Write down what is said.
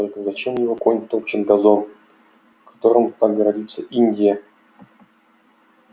только зачем его конь топчет газон которым так гордится индия